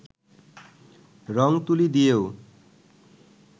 রং-তুলি দিয়েও